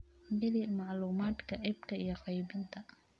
Geli macluumaadka iibka iyo qaybinta.